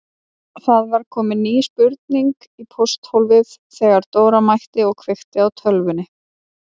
Það var komin ný spurning í pósthólfið þegar Dóra mætti og kveikti á tölvunni.